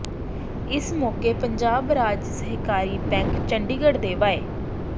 ਇਸ ਮੌਕੇ ਪੰਜਾਬ ਰਾਜ ਸਹਿਕਾਰੀ ਬੈਂਕ ਚੰਡੀਗੜ੍ਹ ਦੇ ਵਾਈ